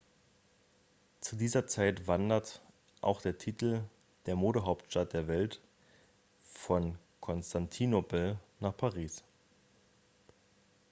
zu dieser zeit wanderte auch der titel der modehauptstadt der welt von konstantinopel nach paris